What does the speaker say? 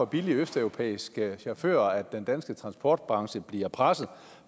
billige østeuropæiske chauffører den danske transportbranche bliver presset